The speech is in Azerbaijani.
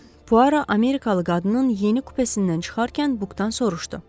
Puaro amerikalı qadının yeni kupesindən çıxarkən bukdan soruşdu.